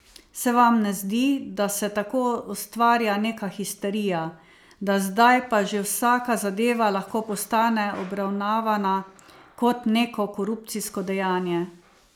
Se vam ne zdi, da se tako ustvarja neka histerija, da zdaj pa že vsaka zadeva lahko postane obravnavana kot neko korupcijsko dejanje?